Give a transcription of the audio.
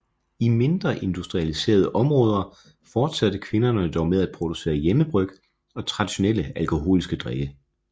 I mindre industrialiserede områder fortsatte kvinderne dog med at producere hjemmebryg og traditionelle alkoholiske drikke